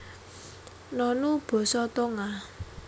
Nonu basa Tonga